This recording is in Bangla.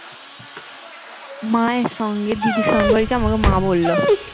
মায়ের সঙ্গে দিদি সঙ্গ হয়েছে আমাকে মা বললো